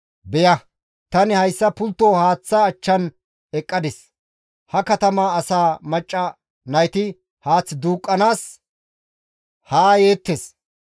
Beya! Tani hayssa pultto haaththa achchan eqqadis; ha katama asaa macca nayti haath duuqqanaas haa yeettes.